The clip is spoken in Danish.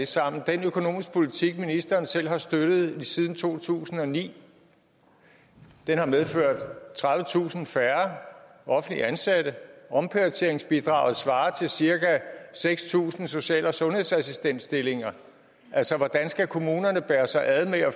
sammen den økonomiske politik ministeren selv har støttet siden to tusind og ni har medført tredivetusind færre offentligt ansatte omprioriteringsbidraget svarer til cirka seks tusind social og sundhedsassistentstillinger hvordan skal kommunerne bære sig ad med at